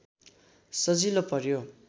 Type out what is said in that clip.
सजिलो पर्‍यो